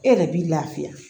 E yɛrɛ b'i lafiya